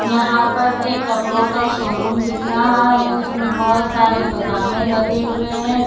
यहां पर एक कपड़ों का शोरूम दिख रहा है उसमें बहुत सारे पजामे लगे हुए हैं।